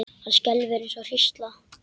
Hann skelfur eins og hrísla.